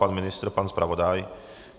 Pan ministr, pan zpravodaj?